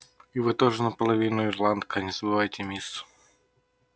и вы тоже наполовину ирландка не забывайте мисс